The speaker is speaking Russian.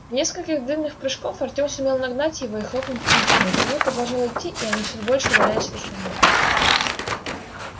в несколько длинных прыжков артём сумел нагнать его и хлопнул по плечу но кирилл продолжал идти и они всё больше удалялись от остальных